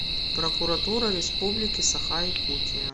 прокуратура республики саха якутия